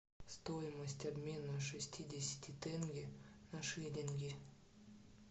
стоимость обмена шестидесяти тенге на шиллинги